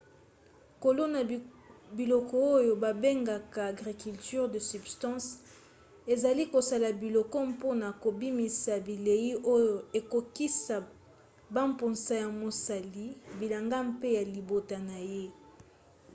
kolona biloko oyo babengaka agriculture de subsistance ezali kosala biloko mpona kobimisa bilei oyo ekokokisa bamposa ya mosali bilanga mpe ya libota na ye